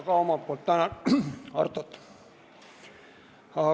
Ma ka omalt poolt tänan Artot!